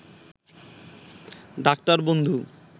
ডাক্তার-বন্ধু